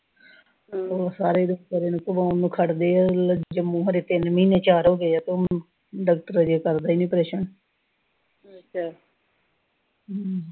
ਹੋਰ ਸਾਰੇ ਰਿਸ਼ਤੇਦਾਰ ਨੂੰ ਖੜ ਗਏ ਆ, ਹਲੇ ਤਿੰਨ ਮਹੀਨੇ ਚਾਰ ਹੋਗੇ ਆ ਤੇ ਹੁਣ ਡਾਕਟਰ ਅਜੇ ਕਰਦਾ ਈ ਨੀ ਪਿਆ ਆਪ੍ਰੇਸ਼ਨ ਹਮ